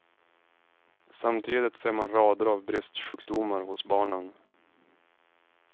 Samtidigt ser man rader av bristsjukdomar hos barnen.